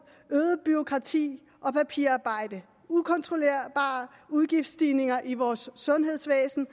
øget bureaukrati og papirarbejde ukontrollerbare udgiftsstigninger i vores sundhedsvæsen